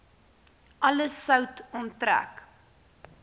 alle sout onttrek